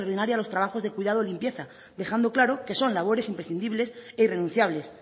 a los trabajos de cuidado y limpieza dejando claro que son labores imprescindibles e irrenunciables